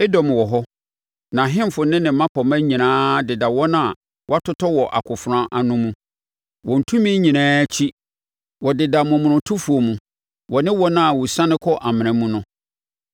“Edom wɔ hɔ, nʼahemfo ne ne mmapɔmma nyinaa deda wɔn a wɔatotɔ wɔ akofena ano mu, wɔn tumi nyinaa akyi. Wɔdeda momonotofoɔ mu, wɔ ne wɔn a wɔsiane kɔ amena mu no.